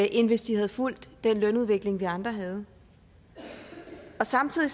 end hvis de havde fulgt den lønudvikling vi andre havde samtidig